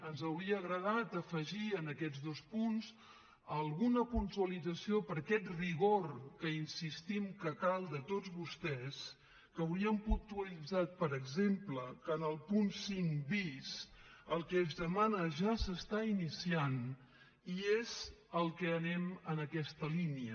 ens hauria agradat afegir en aquests dos punts alguna puntualització per aquest rigor que insistim que cal de tots vostès que hauríem puntualitzat per exemple que en el punt cinc bis el que es demana ja s’està iniciant i és al que anem en aquesta línia